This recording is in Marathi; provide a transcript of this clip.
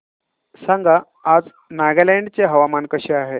सांगा आज नागालँड चे हवामान कसे आहे